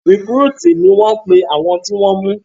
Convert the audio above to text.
Rìkrútìì ni wọ́n pe àwọn tí wọ́n ṣé